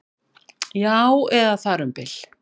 Já, eða þar um bil